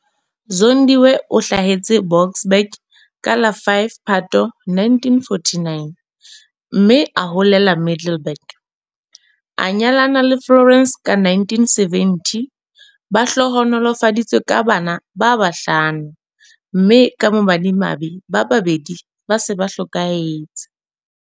Zondiwe o hlahetse Boksburg ka la 5 Phato 1949, mme a holela Middelburg. A nyalana le Florence ka 1970. Ba hlohonolofaditswe ka bana ba bahlamo, mme ka bomadimabe ba babedi ba se ba hlokahetse.